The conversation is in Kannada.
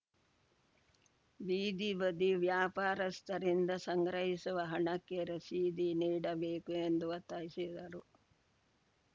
ಬೀದಿ ಬದಿ ವ್ಯಾಪಾರಸ್ಥರಿಂದ ಸಂಗ್ರಹಿಸುವ ಹಣಕ್ಕೆ ರಸೀದಿ ನೀಡಬೇಕು ಎಂದು ಒತ್ತಾಯಿಸಿದರು